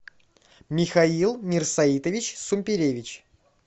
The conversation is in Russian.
михаил мирсаитович сумперевич